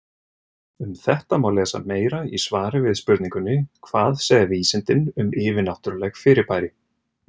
Um þetta má lesa meira í svari við spurningunni Hvað segja vísindin um yfirnáttúrleg fyrirbæri?